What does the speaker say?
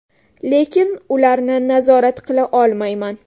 Lekin ularni nazorat qila olmayman.